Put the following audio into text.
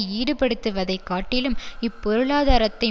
ஈடுபடுத்துவதைக் காட்டிலும் இப் பொருளாதாரத்தை